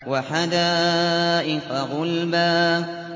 وَحَدَائِقَ غُلْبًا